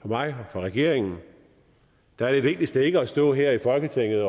for mig og for regeringen er det vigtigste ikke at stå her i folketinget